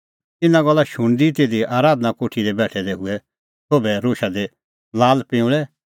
इना गल्ला शुणदी ई तिधी आराधना कोठी दी बेठै दै हुऐ सोभ रोशै दी लालपिंऊंल़ै